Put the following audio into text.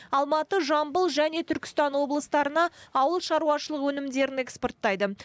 алматы жамбыл және түркістан облыстарына ауылшаруашылық өнімдерін экспорттайды